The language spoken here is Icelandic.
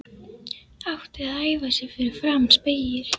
Átti að æfa sig fyrir framan spegil.